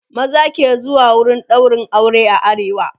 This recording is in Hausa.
maza ke zuwa wurin ɗaurin aure a arewa